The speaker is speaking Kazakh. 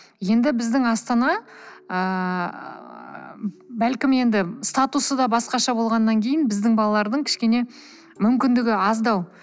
енді біздің астана ыыы бәлкім енді статусы да басқаша болғаннан кейін біздің балалардың кішкене мүмкіндігі аздау